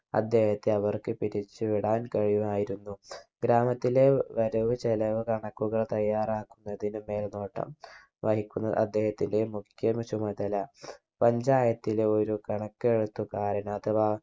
അദ്ദേഹത്തെ അവർക്ക് പിരിച്ചു വിടാൻ കഴിയുമായിരുന്നു ഗ്രാമത്തിലെ വരവ് ചിലവ് കണക്കുകൾ തയ്യാറാക്കുന്നതിന് മേൽനോട്ടം വഹിക്കുന്നത് അദ്ദേഹത്തിന്റെ മുഖ്യ ചുമതല panchayat ലെ ഒരു കണക്കെഴുത്ത് കാരൻ അഥവാ